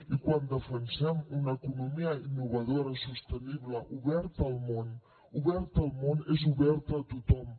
i quan defensem una economia innovadora sostenible oberta al món oberta al món és oberta a tothom